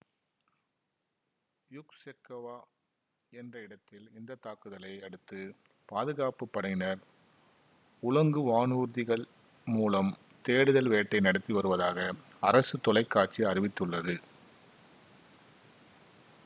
Yuksekova என்ற இடத்தில் இந்த தாக்குதலை அடுத்து பாதுகாப்பு படையினர் உலங்கு வானூர்திகள் மூலம் தேடுதல் வேட்டை நடத்தி வருவதாக அரசு தொலைக்காட்சி அறிவித்துள்ளது